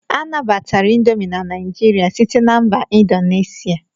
A nabatara indomi na Naijiria site na mba Indonesia.